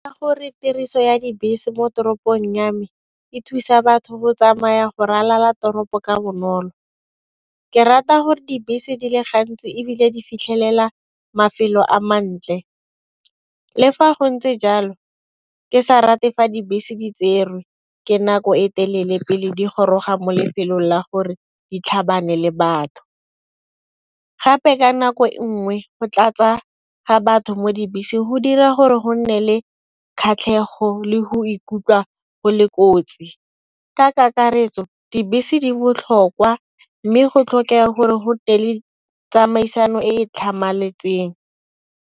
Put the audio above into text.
Ka gore tiriso ya dibese mo toropong ya me e thusa batho go tsamaya go ralala toropo ka bonolo. Ke rata gore dibese di le gantsi ebile di fitlhelela mafelo a mantle, le fa go ntse jalo ke sa rate fa dibese di tserwe ke nako e telele pele di goroga mo lefelong la gore di tlhabane le batho. Gape ka nako e nngwe go tlatsa ga batho mo dibeseng go dira gore go nne le kgatlhego le go ikutlwa go le kotsi. Ka kakaretso dibese di botlhokwa mme go tlhokega gore go le tsamaisano e e tlhamaletseng.